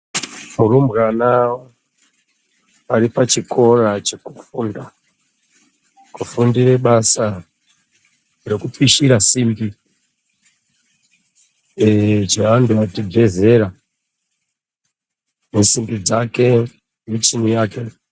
Rumbwana aripachikora chekufunda kufundire basa rekupishira simbi sevanthu vabve zera nesimbi dzake nemichini yake.